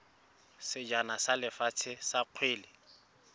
sejana sa lefatshe sa kgwele